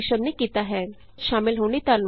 ਇਸ ਟਿਯੂਟੋਰਿਅਲ ਵਿਚ ਸ਼ਾਮਲ ਹੋਣ ਲਈ ਧੰਨਵਾਦ